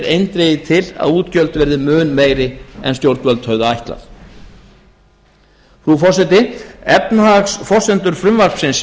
eindregið til að útgjöld verði mun meiri en stjórnvöld höfðu ætlað frú forseti efnahagsforsendur frumvarpsins